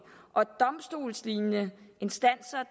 og domstolslignende instanser